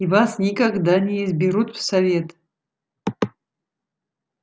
и вас никогда не изберут в совет